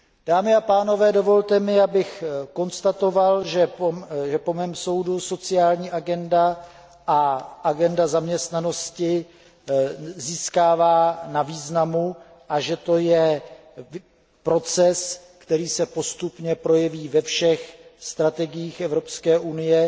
Dámy a pánové, dovolte mi, abych konstatoval, že po mém soudu sociální agenda a agenda zaměstnanosti získávají na významu a že to je proces, který se postupně projeví ve všech strategiích Evropské unie